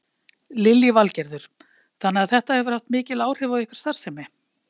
Lillý Valgerður: Þannig að þetta hefur haft mikil áhrif á ykkar starfsemi?